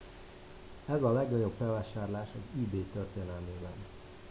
ez a legnagyobb felvásárlás az ebay történelmében